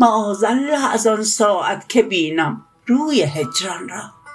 معاذالله از آن ساعت که بینم روی هجران را